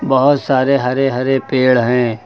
बहोत सारे हरे हरे पेड़ हैं।